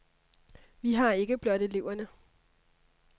Vi har ikke blot eleverne.